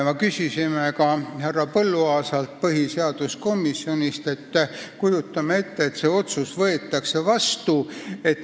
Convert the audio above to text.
Me küsisime härra Põlluaasalt põhiseaduskomisjonist, et kujutame ette, et see otsus võetakse vastu.